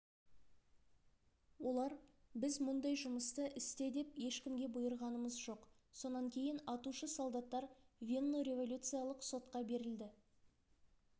олар біз мұндай жұмысты істе деп ешкімге бұйырғанымыз жоқ сонан кейін атушы солдаттар веннореволюциялық сотқа берілді